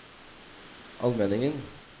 Almenningen